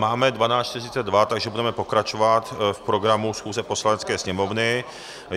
Máme 12.42, takže budeme pokračovat v programu schůze Poslanecké sněmovny.